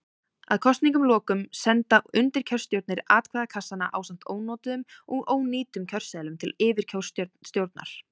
Að kosningum loknum senda undirkjörstjórnir atkvæðakassana ásamt ónotuðum og ónýtum kjörseðlum til yfirkjörstjórnar.